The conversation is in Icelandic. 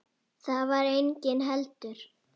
Þar var enginn heldur.